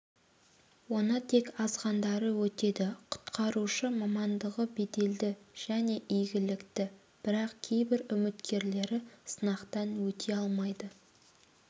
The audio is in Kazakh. оны тек азғандары өтеді құтқарушы мамандығы беделді және игілікті бірақ кейбір үміткерлері сынақтан өте алмайды